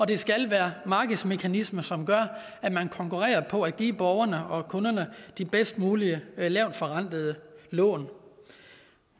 det skal være markedsmekanismer som gør at man konkurrerer på at give borgerne og kunderne de bedst mulige lavtforrentede lån